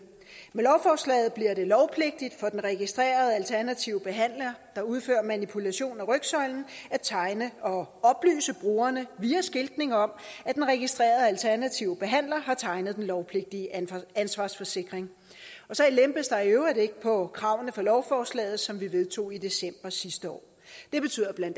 med lovforslaget bliver det lovpligtigt for den registrerede alternative behandler der udfører manipulation af rygsøjlen at tegne og oplyse borgerne via skiltning om at den registrerede alternative behandler har tegnet den lovpligtige ansvarsforsikring så lempes der i øvrigt ikke på kravene i lovforslaget som vi vedtog i december sidste år det betyder bla